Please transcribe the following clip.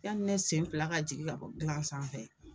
Yani ne sen fila ka jigin ka bɔ gilan sanfɛ